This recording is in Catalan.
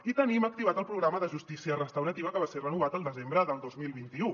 i tenim activat el programa de justícia restaurativa que va ser renovat al desembre del dos mil vint u